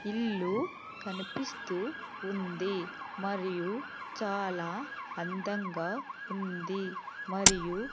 ఇల్లు కనిపిస్తూ ఉంది మరియు చాలా అందంగా ఉంది మరియు--